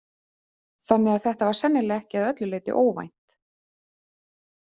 Þannig að þetta var sennilega ekki að öllu leyti óvænt.